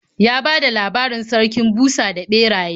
Ya bada labarin Sarkin Busa da Ɓeraye.